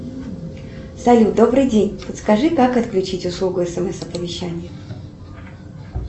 салют добрый день подскажи как отключить услугу смс оповещения